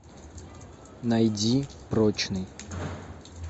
найди прочный